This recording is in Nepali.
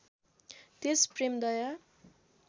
त्यस प्रेमदया